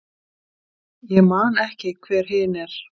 Ég man ekki hver hin er.